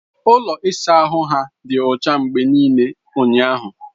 Ụlọ ịsa ahụ ha dị ọcha mgbe niile ụnyahụ.